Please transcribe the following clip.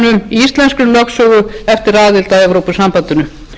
íslenskri lögsögu eftir aðild að evrópusambandinu umræðan um